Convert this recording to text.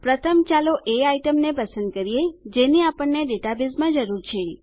પ્રથમ ચાલો એ આઈટમ ને પસંદ કરીએ જેની આપણને ડેટાબેઝમાં જરૂર છે